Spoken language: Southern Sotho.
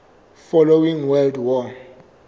following world war